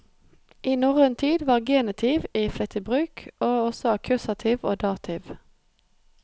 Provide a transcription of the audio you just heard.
I norrøn tid var genitiv i flittig bruk, og også akkusativ og dativ.